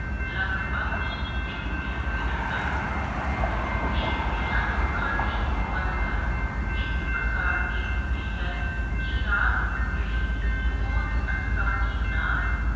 ਲੱਗਭਗ ਤਿਨ ਕਿਲੋਮੀਟਰ ਤਕ ਇਸਦੀਆਂ ਅੱਖਾਂ ਦੀ ਬਣਤਰ ਇਸ ਪ੍ਰਕਾਰ ਦੀ ਹੁੰਦੀ ਹੈ ਕਿ ਰਾਤ ਨੂੰ ਵੀ ਬਹੁਤ ਆਸਾਨੀ ਨਾਲ